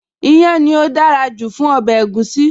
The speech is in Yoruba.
Iyán ni ó dára jù fún ọbẹ̀ egusi.